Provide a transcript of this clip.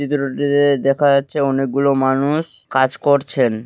চিত্রটিতে দেখা যাচ্ছে। অনেকগুলো মানুষ কাজ করছেন।